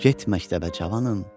Get məktəbə cavanım.